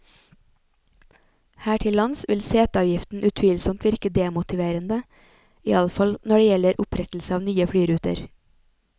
Her til lands vil seteavgiften utvilsomt virke demotiverende, iallfall når det gjelder opprettelse av nye flyruter.